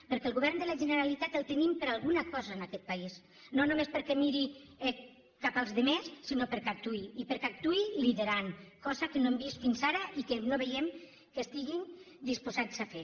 perquè el govern de la generalitat el tenim per alguna cosa en aquest país no només perquè miri cap als altres sinó perquè actuï i perquè actuï liderant cosa que no hem vist fins ara i que no veiem que estiguin disposats a fer